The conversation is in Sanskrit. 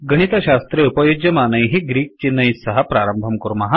गणितशास्त्रे उपयुज्यमानैः ग्रीक् चिह्नैः सह प्रारम्भं कुर्मः